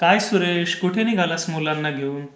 काय सुरेश? कुठे निघालास मुलांना घेऊन?